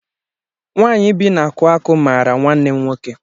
Nwanyị bi n'akuaku mara nwanne m nwoke